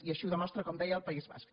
i així ho demostra com deia el país basc